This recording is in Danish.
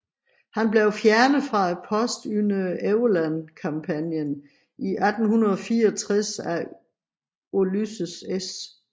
Han blev fjernet fra posten under Overland kampagnen i 1864 af Ulysses S